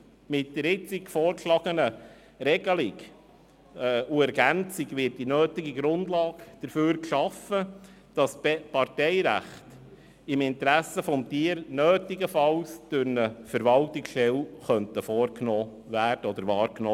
Mit der jetzt vorgeschlagenen Regelung und Ergänzung wird die nötige Grundlage dafür geschaffen, dass das Parteirecht im Interesse des Tieres nötigenfalls durch eine Verwaltungsstelle wahrgenommen werden kann.